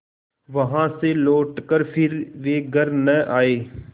वहाँ से लौटकर फिर वे घर न आये